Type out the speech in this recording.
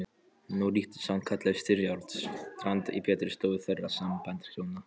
Nú ríkti sannkallað styrjaldarástand í betri stofu þeirra sæmdarhjóna